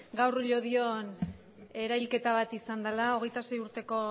gaur llodion erahilketa bat izan dela hogeita sei urteko